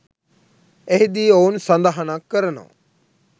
එහිදී ඔවුන් සඳහනක් කරනවා